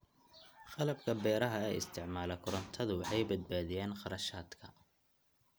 Qalabka beeraha ee isticmaala korontadu waxay badbaadiyaan kharashaadka.